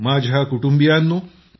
माझ्या कुटुंबियांनो